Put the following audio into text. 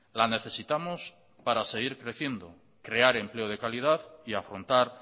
la necesitamos para seguir creciendo crear empleo de calidad y afrontar